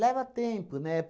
tempo, né?